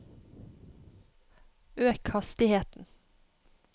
øk hastigheten